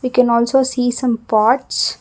We can also see some pots.